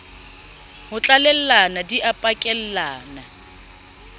ho tlalellana di a pakellana